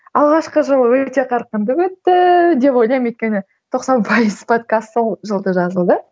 алғашқы жылы өте қарқынды өтті деп ойлаймын өйткені тоқсан пайыз подкаст сол жылда жазылды